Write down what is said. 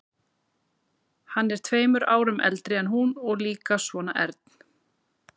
Hann er tveimur árum eldri en hún og líka svona ern.